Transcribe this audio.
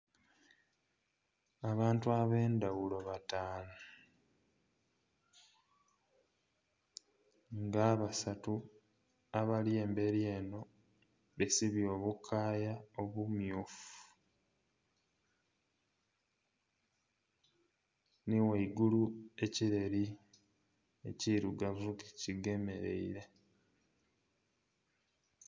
Abantu abendhaghulo bataanu nga abasatu abali emberi enho besibye obukaaya obumyufu nhi ghaigulu ekireeri ekirugavu ki gemereire.